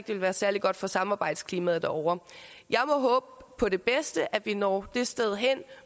vil være særlig godt for samarbejdsklimaet derovre jeg må håbe på det bedste at vi når det sted hen